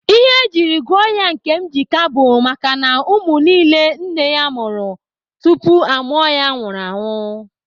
Ihe ejiri gụọ ya Nkemjika bụ makana ụmụ niile nne ya mụrụ tupu a mụọ ya nwụrụ anwụ.